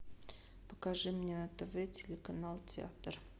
покажи мне на тв телеканал театр